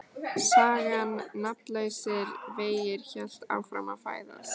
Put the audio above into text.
Sagan Nafnlausir vegir hélt áfram að fæðast.